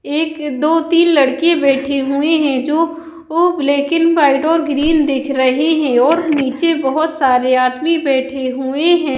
एक दो तीन लड़के बैठी हुऐ है जो ओ ब्लैक ऐंड व्हाइट और ग्रीन देख रहे है और नीचे बहोत सारे आदमी बैठे हुए हैं।